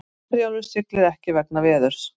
Herjólfur siglir ekki vegna veðurs